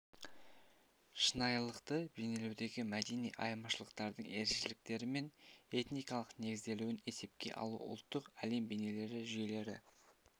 шынайылықты бейнелеудегі мәдени айырмашылықтардың ерекшеліктері мен этникалық негізделуін есепке алу ұлттық әлем бейнелері жүйелері